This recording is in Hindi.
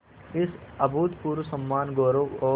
इस अभूतपूर्व सम्मानगौरव और